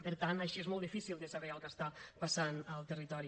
per tant així és molt difícil de saber el que passa al territori